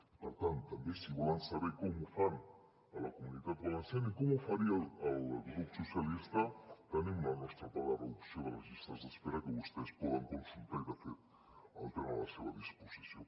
i per tant també si volen saber com ho fan a la comunitat valenciana i com ho faria el grup socialistes tenim el nostre pla de reducció de les llistes d’espera que vostès poden consultar i de fet el tenen a la seva disposició